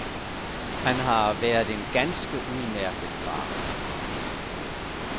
Han har været en ganske udmærket far.